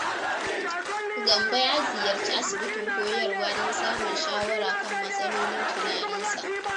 Gambo ya ziyarci asibitin Koyarwa don samun shawara kan matsalolin tunaninsa.